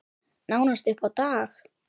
Nánast upp á dag.